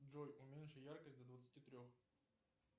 джой уменьши яркость до двадцати трех